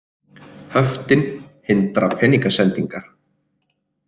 Höftin hindra peningasendingar